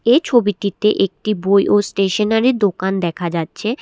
এই ছবিটিতে একটি বই ও স্টেশনারি দোকান দেখা যাচ্ছে।